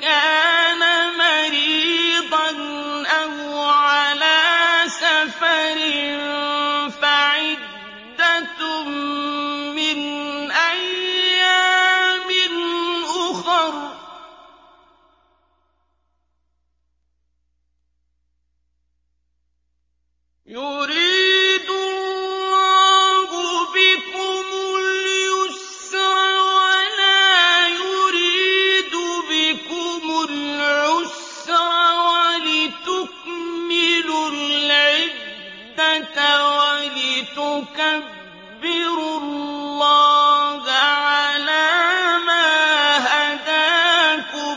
كَانَ مَرِيضًا أَوْ عَلَىٰ سَفَرٍ فَعِدَّةٌ مِّنْ أَيَّامٍ أُخَرَ ۗ يُرِيدُ اللَّهُ بِكُمُ الْيُسْرَ وَلَا يُرِيدُ بِكُمُ الْعُسْرَ وَلِتُكْمِلُوا الْعِدَّةَ وَلِتُكَبِّرُوا اللَّهَ عَلَىٰ مَا هَدَاكُمْ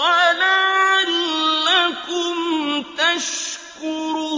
وَلَعَلَّكُمْ تَشْكُرُونَ